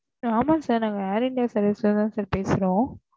Sir ஆமா sir நாங்க air india service ல இருந்து தா sir பேசுறோம்